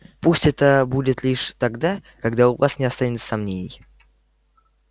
пусть это будет лишь тогда когда у вас не останется сомнений